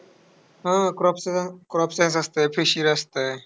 हा crop crop science असतं. Fishery असतं.